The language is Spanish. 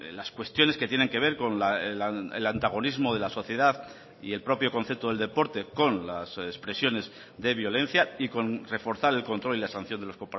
las cuestiones que tienen que ver con el antagonismo de la sociedad y el propio concepto del deporte con las expresiones de violencia y con reforzar el control y la sanción de los